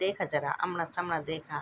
देखा जरा अमणा समल देखा।